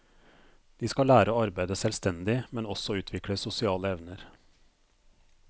De skal lære å arbeide selvstendig, men også utvikle sosiale evner.